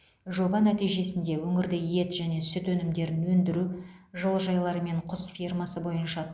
жоба нәтижесінде өңірде ет және сүт өнімдерін өндіру жылыжайлар мен құс фермасы бойынша